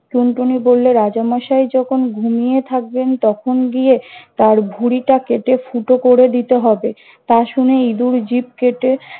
টুনটুনি বললে রাজা মশাই যখন ঘুমিয়ে থাকবেন তখন গিয়ে তার ভুঁড়িটা কেটে ফুটো করে দিতে হবে। তা শুনে ইঁদুর জিভ কেটে-